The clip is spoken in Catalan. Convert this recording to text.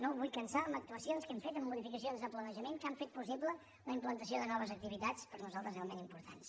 no el vull cansar amb actua·cions que hem fet amb modificacions de planejament que han fet possible la implantació de noves activitats per nosaltres realment importants